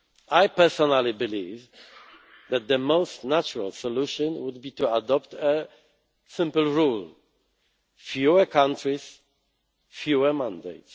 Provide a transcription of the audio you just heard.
ideas. I, personally, believe that the most natural solution would be to adopt a simple rule fewer countries, fewer